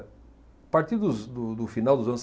Partir dos, do, do final dos anos